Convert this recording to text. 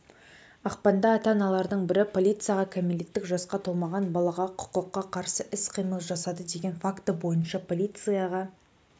ақпанда ата-аналардың бірі полицияға кәмелеттік жасқа толмаған балаға құқыққа қарсы іс-қимыл жасады деген факті бойынша полицияға